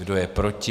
Kdo je proti?